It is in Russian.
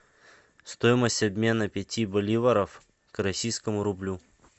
стоимость обмена пяти боливаров к российскому рублю